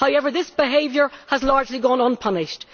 However, this behaviour has largely gone unpunished.